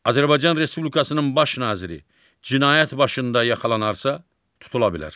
Azərbaycan Respublikasının Baş Naziri cinayət başında yaxalanarsa, tutula bilər.